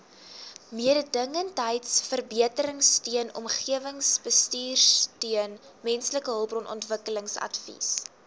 mededingendheidsverbeteringsteun omgewingsbestuursteun mensehulpbronontwikkelingsadvies